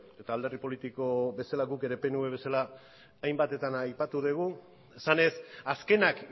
eta alderdi politiko bezala guk ere pnv bezala hainbatetan aipatu dugu esanez azkenak